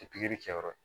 pikiri kɛ yɔrɔ